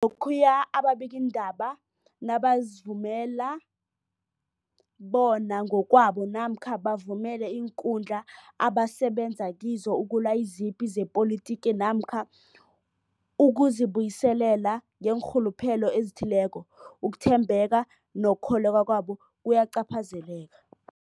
Lokhuya ababikiindaba nabazivumela bona ngokwabo namkha bavumele iinkundla abasebenza kizo ukulwa izipi zepolitiki namkha ukuzi buyiselela ngeenrhuluphelo ezithileko, ukuthembeka nokukholweka kwabo kuyacaphazeleka.